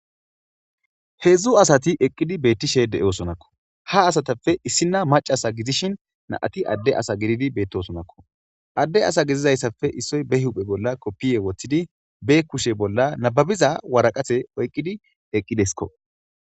Heedzdzu asati betishe de'osonakko ha asatape issina maca asa gididshin na'ati adde asa gididi betosonakko adde asa gidizayisape issoy ba huphe bola kofiye wotidi be kushe bola nababiza woraqate oyikidi eqidesikko.